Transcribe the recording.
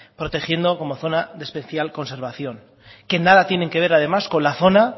protegiendo como zona de especial conservación que nada tienen que ver además con la zona